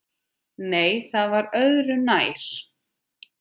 Nei, það var öðru nær!